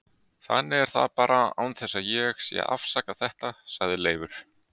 Þannig er það bara án þess að ég sé að afsaka þetta, sagði Leifur.